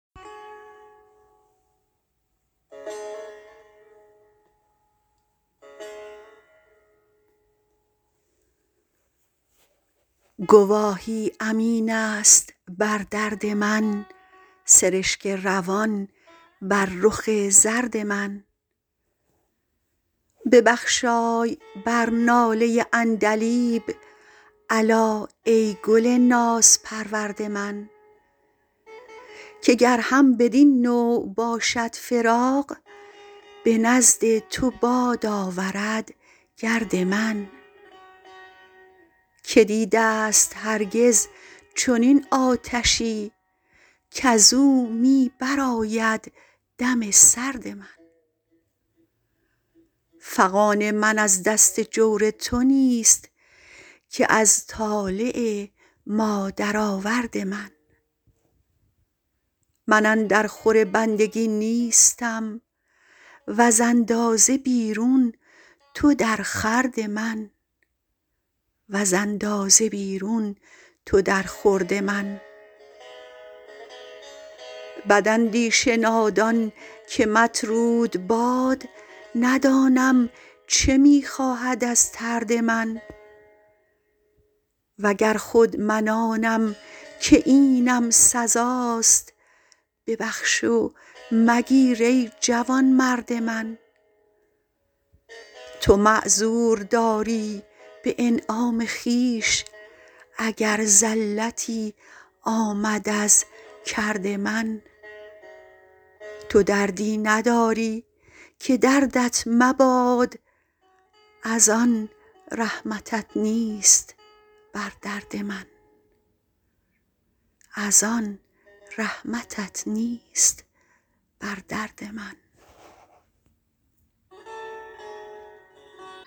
گواهی امین است بر درد من سرشک روان بر رخ زرد من ببخشای بر ناله عندلیب الا ای گل نازپرورد من که گر هم بدین نوع باشد فراق به نزد تو باد آورد گرد من که دیده ست هرگز چنین آتشی کز او می برآید دم سرد من فغان من از دست جور تو نیست که از طالع مادرآورد من من اندر خور بندگی نیستم وز اندازه بیرون تو در خورد من بداندیش نادان که مطرود باد ندانم چه می خواهد از طرد من و گر خود من آنم که اینم سزاست ببخش و مگیر ای جوانمرد من تو معذور داری به انعام خویش اگر زلتی آمد از کرد من تو دردی نداری که دردت مباد از آن رحمتت نیست بر درد من